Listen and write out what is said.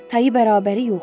Tayı bərabəri yoxdur.